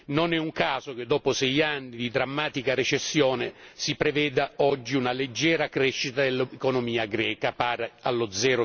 Non è un caso che dopo 6 anni di drammatica recessione, si preveda oggi una leggera crescita dell'economia greca pari allo